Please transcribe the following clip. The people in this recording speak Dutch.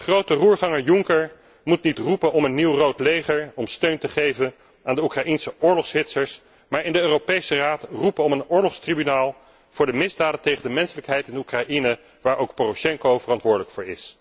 Grote roerganger Juncker moet niet roepen om een nieuw rood leger om steun te geven aan de Oekraïnse oorlogshitsers, maar in de Europese Raad roepen om een oorlogstribunaal voor de misdaden tegen de menselijkheid in de Oekraïne, waar ook Poroshenko verantwoordelijk voor is.